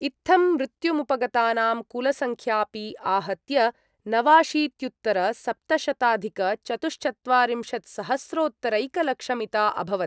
इत्थं मृत्युमुपगतानां कुलसंख्यापि आहत्य नवाशीत्युत्तरसप्तशताधिकचतुश्चत्वारिंशत्सहस्रोत्तरैकलक्षमिता अभवत्।